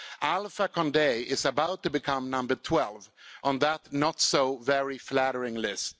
Alpha Condé is about to become number 12 on that not so very flattering list.